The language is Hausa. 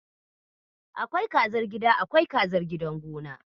Akwai kazar gida, akwai kazar gidan gona.